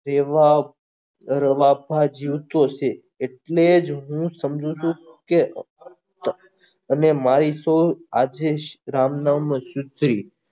એવા અરે બાપા જીવતો છે એટલે જ હું સમજુ છુ કે અને મારી શું આજીસ રામ નામ ની શુદ્ધિ